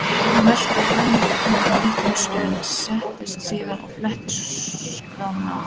Jón velti vöngum litla stund, settist síðan og fletti skránum.